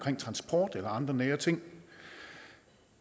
transport eller andre nære ting